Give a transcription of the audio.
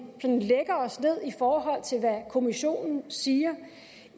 forhold til hvad kommissionen siger